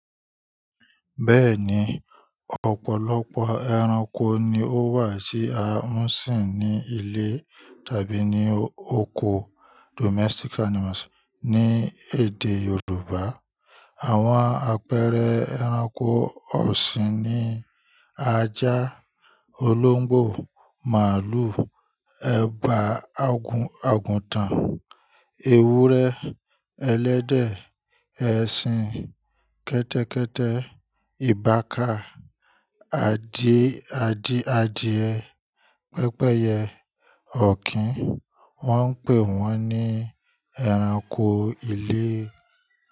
Bẹ́ẹ̀ni, ọ̀pọ̀lọpọ̀ ẹranko ni ó wà tí a ń sìn ní ilé tàbí ní oko domestic animals ní èdè Yorùbá. Àwọn àpẹẹrẹ ẹranko ọ̀sìn ni ajá, olóńgbò, màlúù, ẹba, agúntàn, ewúrẹ́, ẹlẹ́dẹ̀, ẹṣin, kẹ́tẹ́kẹ́tẹ́, ìbàká, adìẹ, pẹ́pẹ́yẹ, ọ̀kín. Wọ́n ń pè wọ́n ní ẹranko ilé.